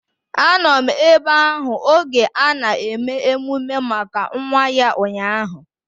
Anọ m ebe ahụ oge ana eme emume maka nwa ya ụnyaahụ